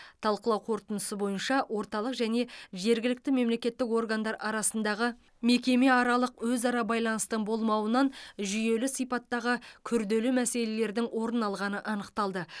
талқылау қорытындысы бойынша орталық және жергілікті мемлекеттік органдар арасындағы мекемеаралық өзара байланыстың болмауынан жүйелі сипаттағы күрделі мәселелердің орын алғаны анықталды